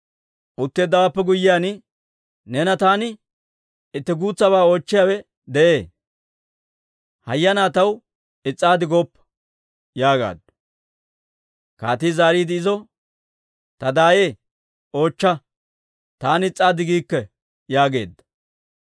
Utteeddawaappe guyyiyaan, «Neena taani itti guutsabaa oochchiyaawe de'ee. Hayyanaa taw is's'oppa» yaagaaddu. Kaatii zaariide izo, «Ta daayee, oochcha. Taani is's'ikke» yaageedda.